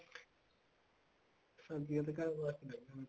ਸਬਜੀਆਂ ਤਾਂ ਘਰ ਵਾਸਤੇ ਲਾਈਆਂ ਹੋਈਆਂ